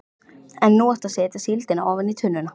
En nú áttu að setja síldina ofan í tunnuna.